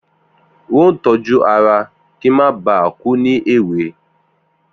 N óò tójú ara kí n má ba à kú ní èwe